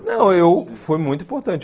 Não, eu foi muito importante.